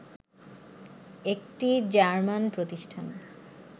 একটি জার্মান প্রতিষ্ঠান